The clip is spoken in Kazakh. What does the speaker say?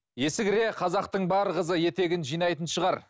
есі кіре қазақтың бар қызы етегін жинайтын шығар